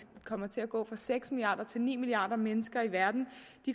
kommer til at gå fra seks milliarder til ni milliarder mennesker i verden